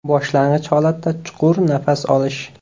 Boshlang‘ich holatda chuqur nafas olish.